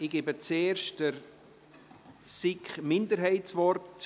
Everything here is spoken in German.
Ich gebe zuerst der SiK-Minderheit das Wort.